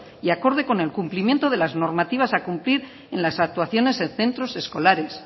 y acorde con el cumplimiento de las normativas a cumplir en las actuaciones en centros escolares